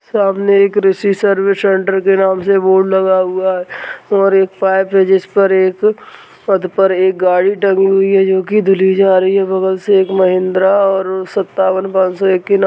सामने एक Rishi service centre के नाम से बोर्ड लगा हुआ है और एक पर एक पद पर एक गाड़ी डमी हुई है जोकि धुली जा रही है बगल से एक महिंद्रा और सत्तावन पाँसो एकिनव--